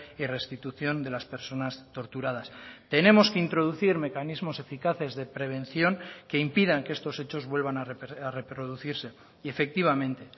y restitución de las personas torturadas tenemos que introducir mecanismos eficaces de prevención que impidan que estos hechos vuelvan a reproducirse y efectivamente